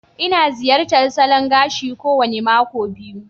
Ina ziyartar salon gashi kowane mako biyu.